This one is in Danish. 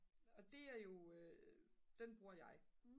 og det er jo den bruger jeg